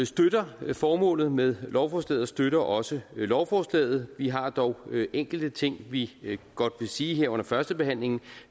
støtter formålet med lovforslaget og støtter også lovforslaget vi har dog enkelte ting vi godt vil sige her under førstebehandlingen